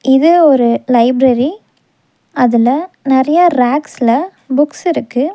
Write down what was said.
இது ஒரு லைப்ரரி . அதுல நறைய ரேக்ஸ்ல புக்ஸ் இருக்கு.